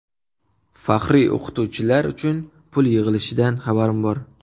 Faxriy o‘qituvchilar uchun pul yig‘ilishidan xabarim bor.